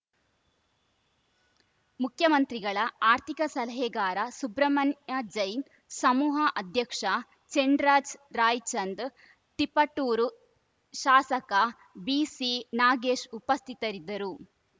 ಮುಖ್ಯಮಂತ್ರಿಗಳ ಆರ್ಥಿಕ ಸಲಹೆಗಾರ ಸುಬ್ರಮಣ್ಯ ಜೈನ್‌ ಸಮೂಹ ಅಧ್ಯಕ್ಷ ಚೆನ್‌ರಾಜ್‌ ರಾಯ್‌ಚಂದ್‌ ತಿಪಟೂರು ಶಾಸಕ ಬಿಸಿ ನಾಗೇಶ್‌ ಉಪಸ್ಥಿತರಿದ್ದರು